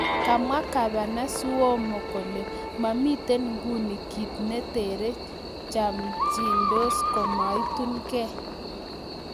Kamwa Gavana Cuomo kole maamiten nguni kit netere chechamdos komaitun kee.